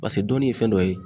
Paseke donni ye fɛn dɔ ye